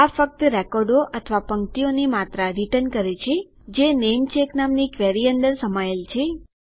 આ ફક્ત રેકોર્ડો અથવા પંક્તિઓની માત્રા રીટર્ન કરે છે જે નેમચેક નામની ક્વેરી અંદર સમાયેલ છે